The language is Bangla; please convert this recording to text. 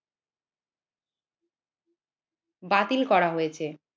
বাতিল করা হয়েছে।